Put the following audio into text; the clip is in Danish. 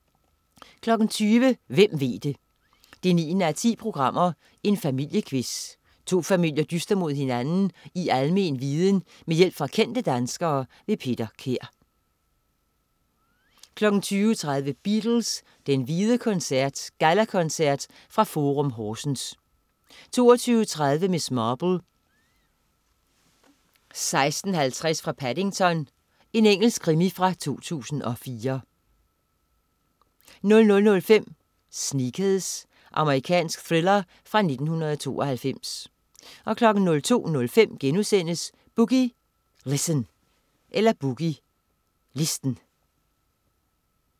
20.00 Hvem ved det! 9:10. Familiequiz. To familier dyster mod hinanden i almen viden med hjælp fra kendte danskere. Peter Kær 20.30 Beatles. Den hvide koncert. Gallakoncert fra Forum Horsens 22.30 Miss Marple: 16:50 fra Paddington. Engelsk krimi fra 2004 00.05 Sneakers. Amerikansk thriller fra 1992 02.05 Boogie Listen*